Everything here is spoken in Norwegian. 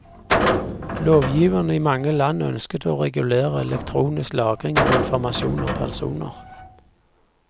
Lovgiverne i mange land ønsket å regulere elektronisk lagring av informasjon om personer.